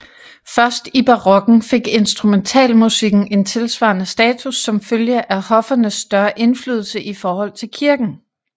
Først i barokken fik instrumentalmusikken en tilsvarende status som følge af hoffernes større indflydelse i forhold til kirken